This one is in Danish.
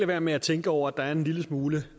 være med at tænke over at der er en lille smule